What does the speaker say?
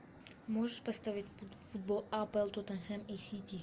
можешь поставить футбол апл тоттенхэм и сити